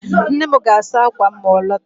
Nne m ga-asa akwa ma ọ lọta